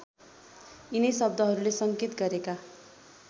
यिनै शब्दहरूले सङ्केत गरेका